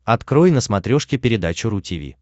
открой на смотрешке передачу ру ти ви